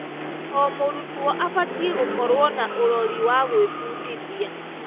O mũrutwo abatiĩ gũkorwo na ũrori wa gwĩbundithia.